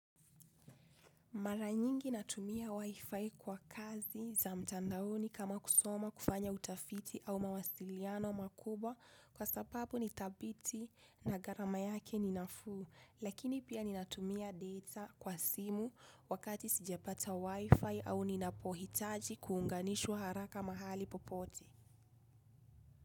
Mara nyingi natumia wifi kwa kazi za mtandaoni kama kusoma kufanya utafiti au mawasiliano makubwa kwa sababu ni thabiti na gharama yake ni nafuu lakini pia ninatumia deta kwa simu wakati sijapata wifi au ninapohitaji kuunganishwa haraka mahali popote.